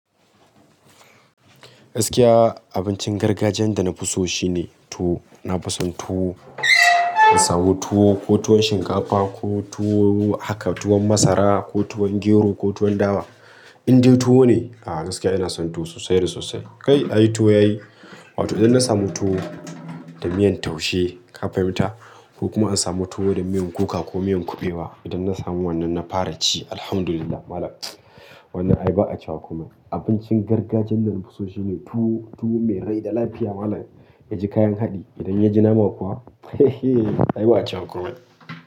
Gaskiya abincin gargajiyan da na fi so shine tuwo. Na fi son tuwo, in samu tuwo, ko tuwon shinkafa, ko tuwo haka tuwon masara, ko tuwon gero, ko tuwon dawa. Indai tuwo ne, ah gaskiya ina son tuwo sosai da sosai. Kai ai tuwo yayi, watan idan na samu tuwo da miyan taushe, ka fahimta? Ko kuma an samu tuwo da miyan kuka ko miyan kuɓewa. Idan na samu wannan na fara ci, Alhamdulillah Malam. Wannan ai ba a ciwa kuma. Abincin gargajiyan da na fi so shine tuwo, tuwo mai rai da lafiya Malam. Ya ji kayan haɗe, idan ya ji nama kuwa, hehe ai ba a cewa komai.